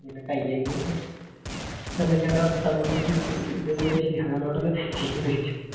പിന്നെ കയ്യകയിട്ട് ഓൻറെ വർത്താനം ഷിഹാനോടെ